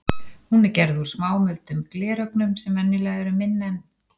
Hún er gerð úr smámuldum glerögnum sem venjulega eru minni en